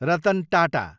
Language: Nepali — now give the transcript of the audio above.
रतन टाटा